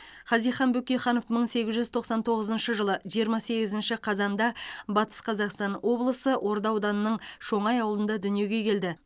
хазихан бөкейханов мың сегіз жүз тоқсан тоғызыншы жылы жиырма сегізінші қазанда батыс қазақстан облысы орда ауданының шоңай ауылында дүниеге келді